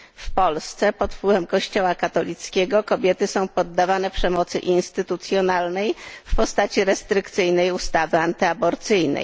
W Polsce pod wpływem Kościoła katolickiego kobiety są poddawane przemocy instytucjonalnej w postaci restrykcyjnej ustawy antyaborcyjnej.